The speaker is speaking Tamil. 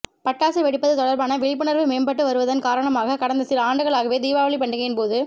பட்டாசு வெடிப்பது தொடா்பான விழிப்புணா்வு மேம்பட்டு வருவதன் காரணமாக கடந்த சில ஆண்டுகளாகவே தீபாவளி பண்டிகையின் போது